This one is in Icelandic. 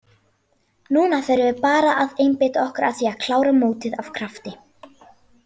Núna förum við bara að einbeita okkur að því að klára mótið af krafti.